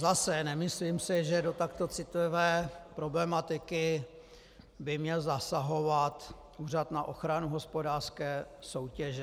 Zase, nemyslím si, že do takto citlivé problematiky by měl zasahovat Úřad na ochranu hospodářské soutěže.